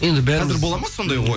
енді бәріміз болады ма сондай ой